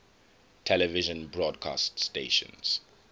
television broadcast stations